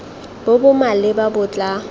bo bo maleba bo tla